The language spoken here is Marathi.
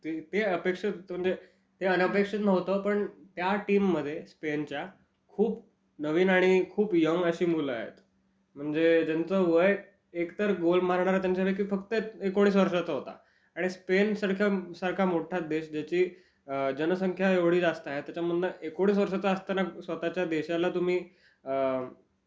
हो, हो. ते अपेक्षित होतं. म्हणजे ते अनपेक्षित नव्हतं. पण त्या टीममध्ये स्पेनच्या खूप नवीन आणि खूप यंग अशी मुलं आहेत. म्हणजे ज्यांचं वय.. म्हणजे एक तर गोल मारणारा त्यांच्यापैकी फक्त एकोणीस वर्षांचा होता. आणि स्पेनसारखा मोठा देश ज्याची जनसंख्या एवढी जास्त आहे, त्याच्यामधनं एकोणीस वर्षांचा असताना स्वतःच्या देशाला तुम्ही..अ.